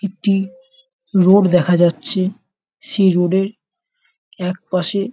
একটি রোড দেখা যাচ্ছে সেই রোড -এর এক পাশে --